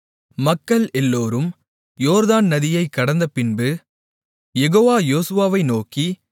மக்கள் எல்லோரும் யோர்தான் நதியைக் கடந்தபின்பு யெகோவா யோசுவாவை நோக்கி